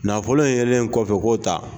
Nafolo yelen kɔfɛ k'o ta.